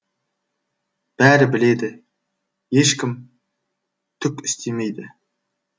бәрі біледі ешкім түк істемейді